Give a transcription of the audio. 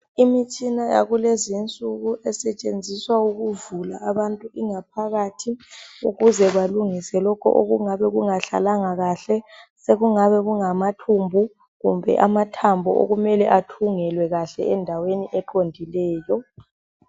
Imitshina yakulezi insuku esetshenziswa ukuvula ingaphakathi ukuze balungise lokho okungabe kungahlalanga kanye. Sekungabe kungamathumbu kumbe amathambo okumele athungelwe kahle endaweni eqondileyo.